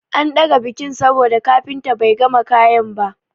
An ɗaga bikin saboda kafinta bai gama kayan ba.